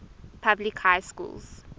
public high schools